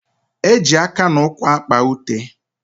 Eji aka na ụkwụ akpa ute.